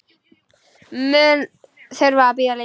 Mun þurfa að bíða lengi.